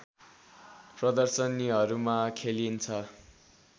प्रदर्शनीहरूमा खेलिन्छ